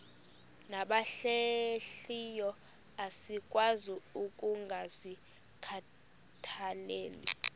nabahlehliyo asikwazi ukungazikhathaieli